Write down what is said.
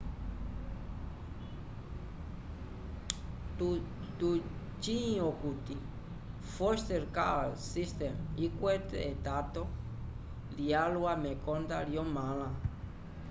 tucĩ okuti foster care system ikwete etato lyalwa mekonda lyomãla